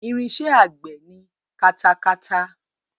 Irinṣẹ́ àgbẹ̀ ni katakata.